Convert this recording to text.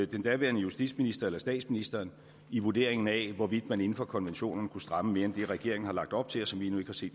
den daværende justitsminister eller statsministeren i vurderingen af hvorvidt man inden for konventionerne kunne stramme mere end det regeringen har lagt op til og som vi endnu ikke set